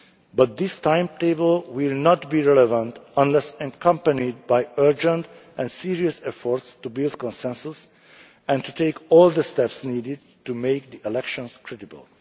But this timetable will not be relevant unless it is accompanied by urgent and serious efforts to build consensus and to take all the steps needed to make the elections